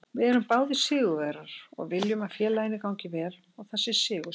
Við erum báðir sigurvegarar og viljum að félaginu gangi vel og það sé sigursælt.